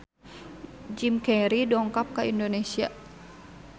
Jim Carey dongkap ka Indonesia